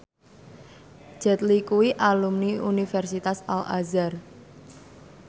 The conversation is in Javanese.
Jet Li kuwi alumni Universitas Al Azhar